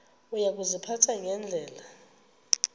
uya kuziphatha ngendlela